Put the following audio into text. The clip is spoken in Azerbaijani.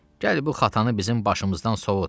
Gəl bu xatanı bizim başımızdan sovut.